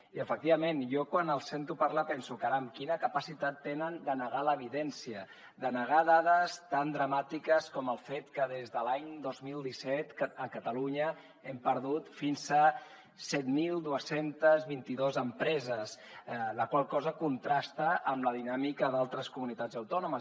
i efectivament jo quan els sento parlar penso caram quina capacitat tenen de negar l’evidència de negar dades tan dramàtiques com el fet que des de l’any dos mil disset a catalunya hem perdut fins a set mil dos cents i vint dos empreses la qual cosa contrasta amb la dinàmica d’altres comunitats autònomes